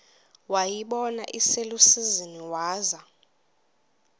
wayibona iselusizini waza